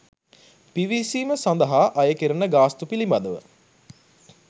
පිවිසීම සඳහා අයකෙරෙන ගාස්තු පිළිබඳව